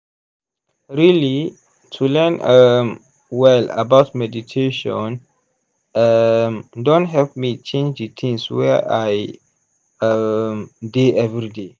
really to learn um well about meditation um don help me change d things wey i um dey everyday.